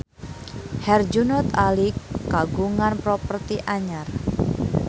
Herjunot Ali kagungan properti anyar